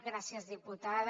gràcies diputada